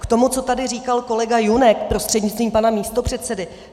K tomu, co tady říkal kolega Junek, prostřednictvím pana místopředsedy.